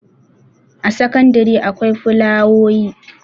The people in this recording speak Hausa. a sakandare akwai fulawoyi